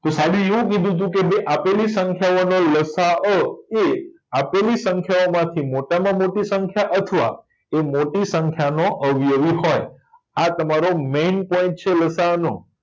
તો સાઈબે એવું કીધુતું કે બે આપેલી સંખ્યાઓનો લસાઅ એ આપેલી સંખ્યાઓ માંથી મોટામાં મોટી સંખ્યા અથવા તે મોટી સંખ્યાનો અવયવી હોય આ તમારો મેઈન પોઈન્ટ છે લસાઅનો